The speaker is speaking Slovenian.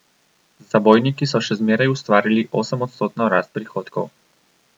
Z zabojniki so še zmeraj ustvarili osemodstotno rast prihodkov.